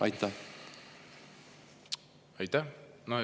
Aitäh!